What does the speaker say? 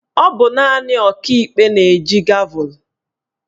Ọ bụ naanị Ọkaikpe na-eji gavul